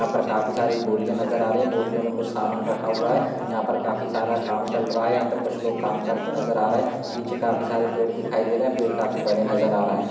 यहाँ पर काफी सारी बोरिए नजर आ रही है बोरिओ मे समान रखा हुआ है यहाँ पर काफी सारा काम चल रहा है यहाँ पर कुछ लोग काम करते नजर आ रहे है पीछे काफी सारे पेड़ दिखाई दे रहे है पेड़ काफी बड़े नजर आ रहे है।